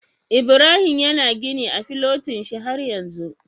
Ibrahim yana gini a filotin shi har yanzu?